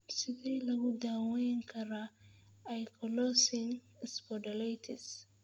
Sidee lagu daweyn karaa ankylosing spondylitis?